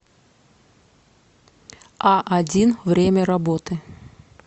аодин время работы